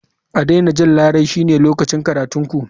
A daina jan larai shine lokacin karatun ku.